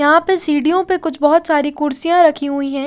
यहां पर सीढ़ियों पर कुछ बहुत सारी कुर्सियां रखी हुई है।